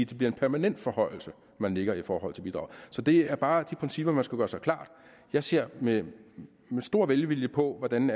det bliver en permanent forhøjelse man lægger i forhold til bidraget så det er bare de principper man skal gøre sig klart jeg ser med stor velvilje på hvordan